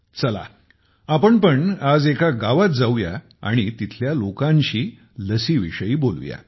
चला आपण पण आज एका गावात जाऊ या आणि तेथील लोकांशी लसीविषयी बोलू या